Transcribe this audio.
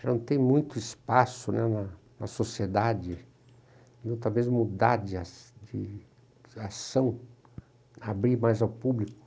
Já não tem muito espaço né na na sociedade, talvez, mudar de a de ação, abrir mais ao público.